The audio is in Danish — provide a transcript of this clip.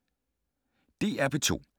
DR P2